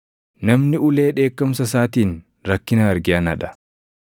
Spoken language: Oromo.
Namni ulee dheekkamsa isaatiin rakkina arge anaa dha.